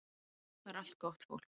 Það er allt gott fólk